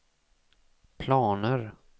planer